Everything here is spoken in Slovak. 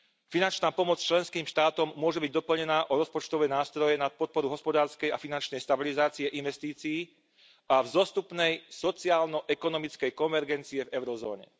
Finančná pomoc členským štátom môže byť doplnená o rozpočtové nástroje na podporu hospodárskej a finančnej stabilizácie, investícií a vzostupnej sociálno ekonomickej konvergencie v eurozóne.